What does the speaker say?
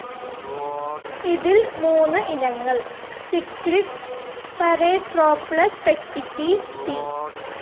ഇതിൽ മൂന്ന് ഇനങ്ങൾ സിക്ലിഡ്സ്, പരേട്രോപ്ലസ് പെറ്റിറ്റി, പി.